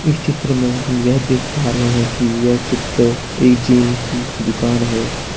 इस चित्र में हम यह देख पा रहे हैं कि यह चित्र एक जिम की दुकान है।